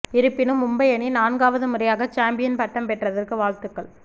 இருப்பினும் மும்பை அணி நான்காவது முறையாக சாம்பியன் பட்டம் பெற்றதற்கு வாழ்த்துக்கள்